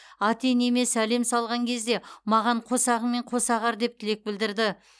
ата енеме сәлем салған кезде маған қосағыңмен қоса ағар деп тілек білдірді